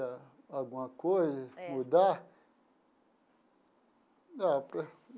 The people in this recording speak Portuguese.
Alguma coisa? É. Mudar?